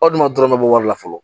Aw dun ma dɔrɔn bɔ wari la fɔlɔ